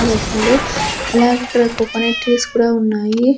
అలాగిక్కడ coconut trees కూడా ఉన్నాయి.